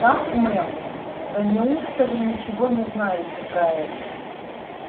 как мэм да неужто вы ничего не знаете про это